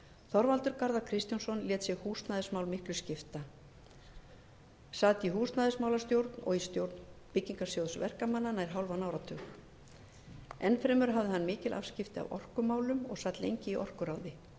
þorvaldur garðar kristjánsson lét sig húsnæðismál miklu skipta sat í húsnæðismálastjórn og í stjórn byggingarsjóðs verkamanna nær hálfan enn fremur hafði hann mikil afskipti af orkumálum og sat lengi í orkuráði flutti hann